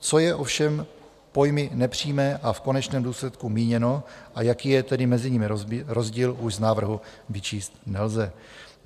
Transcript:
Co je ovšem pojmy "nepřímé" a "v konečném důsledku" míněno, a jaký je tedy mezi nimi rozdíl, už z návrhu vyčíst nelze.